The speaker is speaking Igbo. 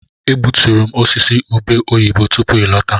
Egbuturu m osisi ube oyibo tupu ị lọta.